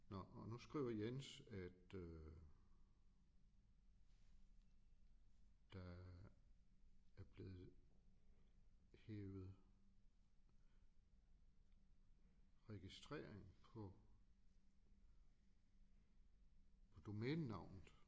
Nåh og nu skriver Jens at øh der er blevet hevet registrering på på domænenavnet